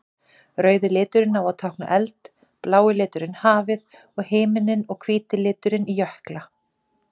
Rauði liturinn á að tákna eld, blái liturinn hafið og himininn og hvíti liturinn jökla.